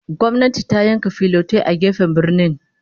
Gwamnati ta yanka filotai a gefen birnin